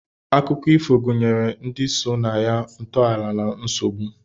Akụkọ ifo gụnyere ndi so na ya, ntọala na nsogbu.